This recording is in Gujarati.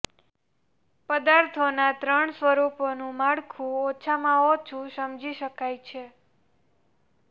પદાર્થોના ત્રણ સ્વરૂપોનું માળખું ઓછામાં ઓછું સમજી શકાય છે